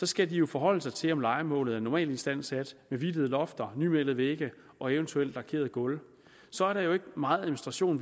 skal de jo forholde sig til om lejemålet er normalistandsat med hvidtede lofter nymalede vægge og eventuelt lakerede gulve så er der jo ikke meget administration